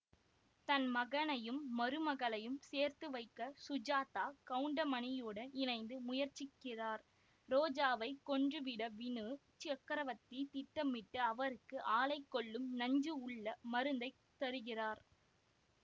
தன்மகனையும் மருமகளையும் சேர்த்துவைக்க சுஜாதா கவுண்டமணியுடம் இணைந்து முயற்சிக்கிறார் ரோஜாவைக் கொன்று விட வினு சக்கரவர்த்தி திட்டமிட்டு அவருக்கு ஆளைக் கொல்லும் நஞ்சு உள்ள மருந்தைத் தருகிறார்